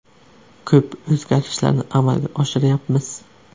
Ko‘p o‘zgarishlarni amalga oshiryapmiz.